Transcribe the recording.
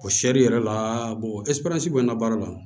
O seri yɛrɛ la ɛsiperansi bɛ n ka baara la